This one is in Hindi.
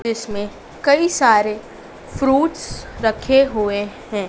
जिसमें कई सारे फ्रूटस रखे हुए है।